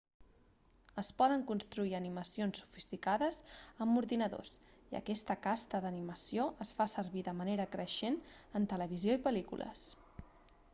es poden construir animacions sofisticades amb ordinadors i aquesta casta d'animació es fa servir de manera creixent en televisió i pel·lícules